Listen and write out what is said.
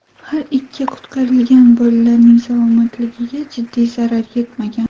Har ikki qutqarilgan bolalarning salomatligiga jiddiy zarar yetmagan.